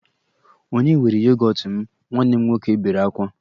Ònye were yogọt m? Nwanne m nwoke bere ákwá